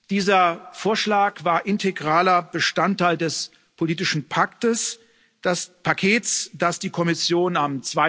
Dieser Vorschlag war integraler Bestandteil des politischen Paktes, das Paket, das die Kommission am